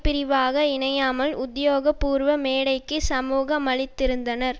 பிரிவாக இணையாமல் உத்தியோகபூர்வ மேடைக்கு சமூகமளித்திருந்தனர்